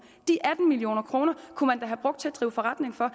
kunne man da have brugt til at drive forretning for